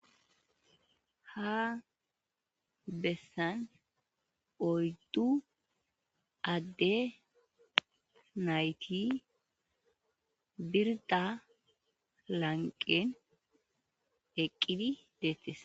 ha bessan oyddu adde nayti birda lanqen eqqidi deettes